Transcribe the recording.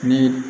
Ni